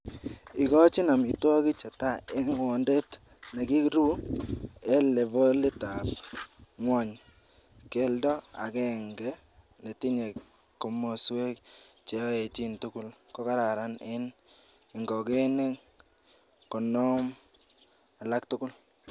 Igochin amitwogik che tai en gwondet nekiruu en levolitab ab ngwony, keldo agenge netinye komoswek che oechin tugul kokararan en ingogenik konoom alak tugul.